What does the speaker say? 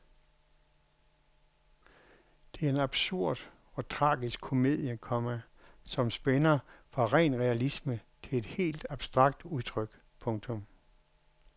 Det er en absurd og tragisk komedie, komma som spænder fra ren realisme til et helt abstrakt udtryk. punktum